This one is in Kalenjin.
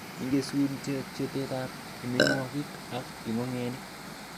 Igesun chobetab amitwogik ab ingogenik.